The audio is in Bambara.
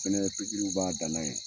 Fɛnɛ ipikiriw b'a dan na ye